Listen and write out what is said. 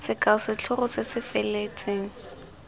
sekao setlhogo se se feletseng